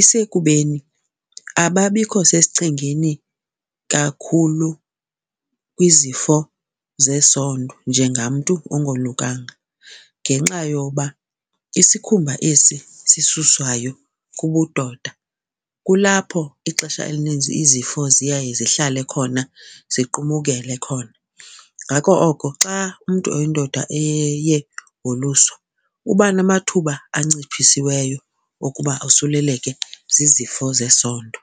isekubeni ababikho sesichengeni kakhulu kwizifo zesondo njengamntu ongolukanga ngenxa yoba isikhumba esi sisuswayo kubudoda kulapho ixesha elininzi izifo ziyaye zihlale khona ziqumukele khona. Ngako oko xa umntu oyindoda eye woluswa uba namathuba anciphisiweyo okuba osuleleke zizifo zesondo.